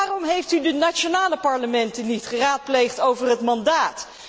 Waarom heeft u de nationale parlementen niet geraadpleegd over het mandaat?